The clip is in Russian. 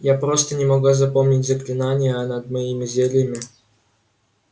я просто не могла запомнить заклинания а над моими зельями